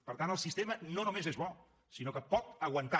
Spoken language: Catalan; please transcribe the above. per tant el sistema no només és bo sinó que pot aguantar